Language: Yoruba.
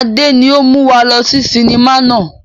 Adé ni ó mú wá lọ sí sinimá náà